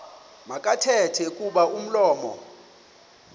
makathethe kuba umlomo